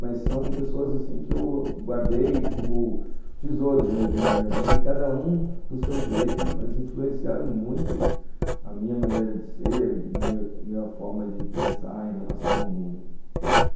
Mas são pessoas que eu guardei como tesouros mesmo na minha vida e cada um do seu jeito, mas influenciaram muito a minha maneira de ser, a minha minha forma de pensar em relação ao mundo.